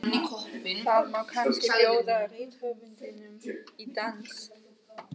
Það má kannski bjóða rithöfundinum í dans?